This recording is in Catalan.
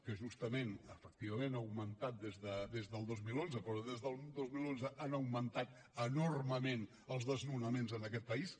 que justament efectivament ha augmentat des del dos mil onze però des del dos mil onze han augmentat enormement els desnonaments en aquest país